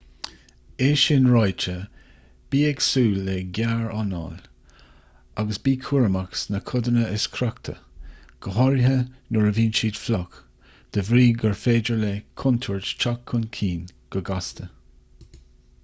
é sin ráite bí ag súil le gearranáil agus bí cúramach sna codanna is crochta go háirithe nuair a bhíonn siad fliuch de bhrí gur féidir le contúirt teacht chun cinn go gasta